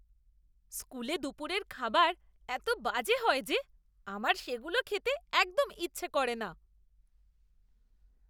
স্কুলে দুপুরের খাবার এত বাজে হয় যে আমার সেগুলো খেতে একদম ইচ্ছে করে না।